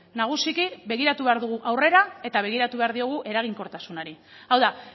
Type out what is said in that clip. nagusiki begiratu behar dugu aurrera eta begiratu behar diogu eraginkortasunari hau da